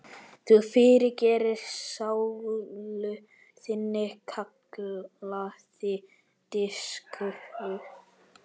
Þú fyrirgerir sálu þinni, kallaði biskup.